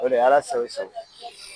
O le Ala sago i sago.